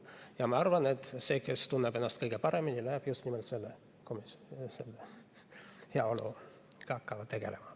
Ja ma arvan, et see, kes tunneb ennast kõige paremini, läheb just nimelt sellesse komisjoni ja hakkab heaoluga tegelema.